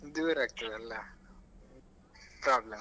ದೂರ ಆಗ್ತದಲ್ಲ problem ಆಗ್ತದೆ.